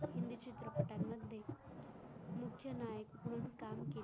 हिंदी चित्रपटा मध्ये मुख्य नायक म्हणून काम केले